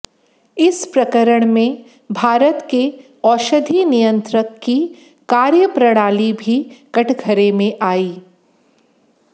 इस प्रकरण में भारत के औषधि नियंत्रक की कार्यप्रणाली भी कठघरे में आई